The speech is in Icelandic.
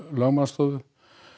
lögmannsstofu